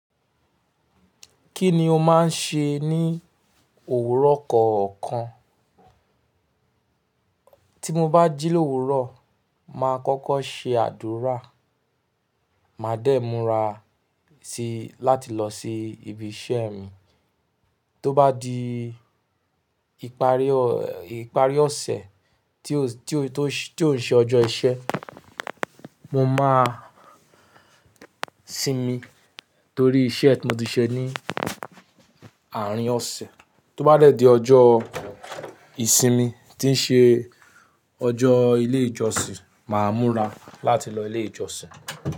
Kí ni o máa ń ṣe ní òwúrọ̀ kọ̀ọ̀kan? Tí mo bá jí l'òwúrò, màá kọ́kọ́ ṣe àdúrà, màá dẹ̀ múra sí láti lọ sí ibi iṣẹ́ mi. Tó bá di ìparí ọ̀sẹ̀ tí ò ń ṣe ọjọ́ iṣẹ́, mo máa sinmi torí iṣẹ́ tí mo ti ṣe ní àárín ọ̀sẹ̀. Tó bá dẹ̀ di ọjọ́ ìsinmi tí ń ṣe ọjọ́ ilé ìjọsìn, màá múra láti lọ ilé ìjọsìn.